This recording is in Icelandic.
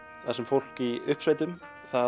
þar sem fólk í uppsveitum